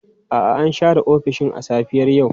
A'a, an share ofishin a safiyar yau.